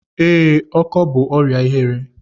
Ee, ọkọ bú ọrịa ihere.